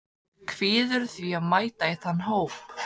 Kvíðirðu því að mæta í þann hóp?